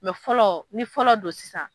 fɔlɔ ni fɔlɔ don sisan